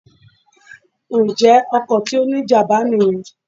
Ǹjẹ́ ọkọ̀ tí ó ní ìjàmbá nìyen